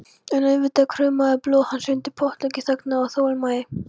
En auðvitað kraumaði blóð hans undir pottloki þagnar og þolinmæði.